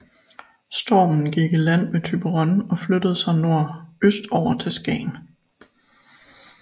Stormen gik i land ved Thyborøn og flyttede sig nordøstover til Skagen